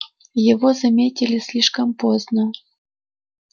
его заметили слишком поздно